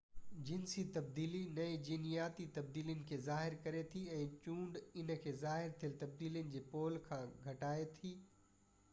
جنسي تبديلي نئي جينياتي تبديلين کي شامل ڪري ٿي ۽ چونڊ هن کي ظاهر ٿيل تبديلي جي پول کان هٽائي ٿي